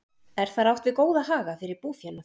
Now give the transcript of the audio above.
Er þar átt við góða haga fyrir búfénað.